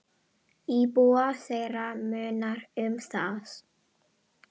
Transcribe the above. Íbúa þeirra munar um það.